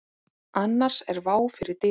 Annars er vá fyrir dyrum.